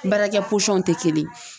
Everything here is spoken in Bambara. Baarakɛ posɔnw tɛ kelen ye.